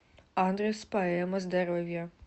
адрес поэма здоровья